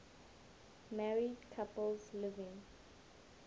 married couples living